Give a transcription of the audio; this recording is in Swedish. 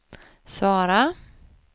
svara